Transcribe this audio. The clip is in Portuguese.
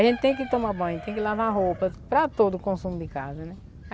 A gente tem que tomar banho, tem que lavar roupa para todo o consumo de casa, né?